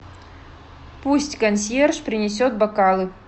пусть консьерж принесет бокалы